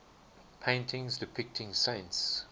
paintings depicting saints